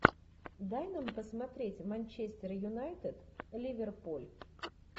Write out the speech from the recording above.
дай нам посмотреть манчестер юнайтед ливерпуль